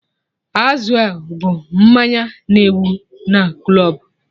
Azul bụ mmanya na-ewu na klọbụ